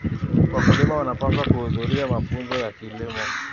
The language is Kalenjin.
Wakulima wanapaswa kuhudhuria mafunzo ya kilimo.